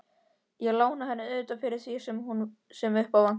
Ég lána henni auðvitað fyrir því sem upp á vantar.